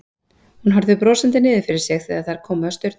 Hún horfði brosandi niður fyrir sig þegar þær komu að staurnum.